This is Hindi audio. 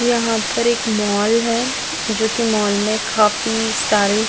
यहाँ पर एक मॉल है जो की मॉल में काफी सारे--